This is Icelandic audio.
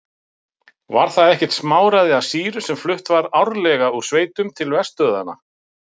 Krefst einskis, veitir allt.